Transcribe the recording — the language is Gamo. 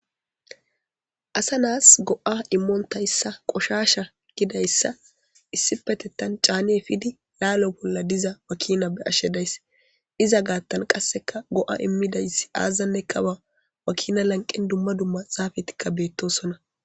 asa naas go7a immoontayssa qoshasha gidayssa issi petettan caanee fidi laalo bolla diza wakina be ashshedays iza gaattan qasseka go7a immidayssi aazanne kawa wakina lanqen dumma dumma xaafetikka beettosona